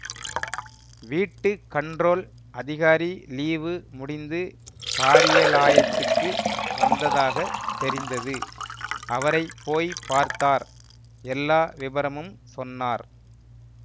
வீட்டு கண்ட்ரோல் அதிகாரி லீவு முடிந்து காரியலாயத்துக்கு வந்ததாக தெரிந்தது அவரை போய் பார்த்தார் எல்லா விபரமும் சொன்னார்